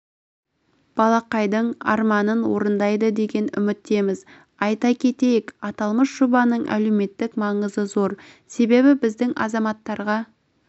балақайдың армандарын орындайды деген үміттеміз айта кетейік аталмыш жобаның әлеуметтік маңызы зор себебі біздің азаматтарға